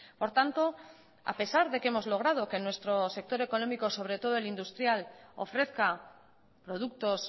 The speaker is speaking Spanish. por tanto a pesar de que hemos logrado que nuestro sector económico sobre todo el industrial ofrezca productos